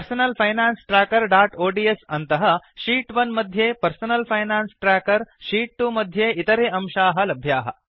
personal finance trackerओड्स् अन्तः sheet 1 मध्ये पर्सनल् फैनान्स् ट्र्याकर् शीत् 2 मध्ये इतरे अंशाः लभ्याः